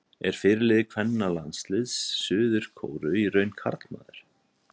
Er fyrirliði kvennalandsliðs Suður-Kóreu í raun karlmaður?